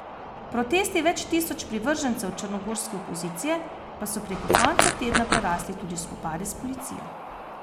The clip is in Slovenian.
Protesti več tisoč privržencev črnogorske opozicije pa so preko konca tedna prerasli tudi v spopade s policijo.